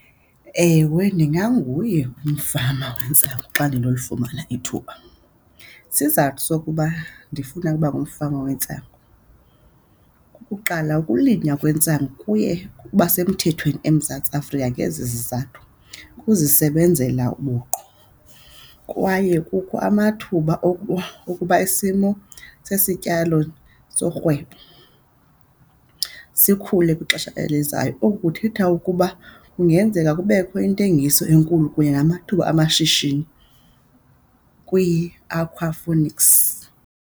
Ewe, ndinganguye umfama wetsangu xa ndinolifumana ithuba. Isizathu sokuba ndifuna ukuba ngumfama wentsangu kukuqala ukulinywa akwenzanga kuye kuba semthethweni eMzantsi Afrika ngezi zizathu, ukuzisebenzela buqu kwaye kukho amathuba okuba isimo sesityalo sorhwebo sikhule kwixesha elizayo. Oku kuthetha ukuba kungenzeka kubekho intengiso enkulu kunye namathuba amashishini kwii-aquaponics.